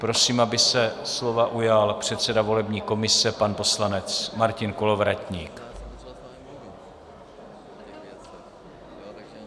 Prosím, aby se slova ujal předseda volební komise pan poslanec Martin Kolovratník.